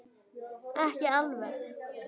Ekki alveg.